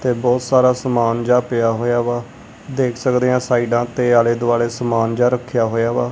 ਤੇ ਬਹੁਤ ਸਾਰਾ ਸਮਾਨ ਜਿਹਾ ਪਿਆ ਹੋਇਆ ਵਾ। ਦੇਖ ਸਕਦੇ ਆਂ ਸਾਈਡਾਂ ਤੇ ਆਲੇ ਦੁਆਲੇ ਸਮਾਨ ਜਿਹਾ ਰੱਖਿਆ ਹੋਇਆ ਵਾ।